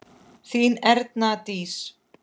Þín Erna Dís.